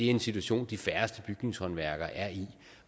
en situation de færreste bygningshåndværkere er i